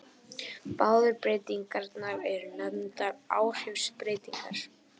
Báðar breytingarnar eru nefndar áhrifsbreytingar.